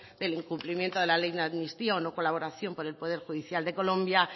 del incumplimiento de la ley de amnistía o no colaboración con el poder judicial de colombia